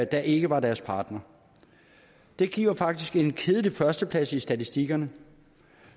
der ikke var deres partner det giver faktisk en kedelig førsteplads i statistikkerne